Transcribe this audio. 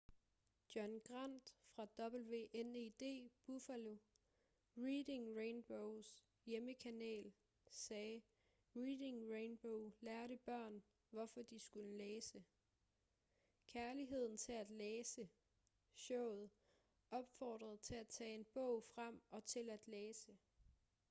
john grant fra wned buffalo reading rainbows hjemmekanal sagde reading rainbow lærte børn hvorfor de skulle læse... kærligheden til at læse – [showet] opfordrede til at tage en bog frem og til at læse.